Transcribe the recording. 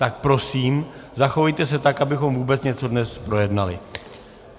Tak prosím, zachovejte se tak, abychom vůbec něco dnes dojednali.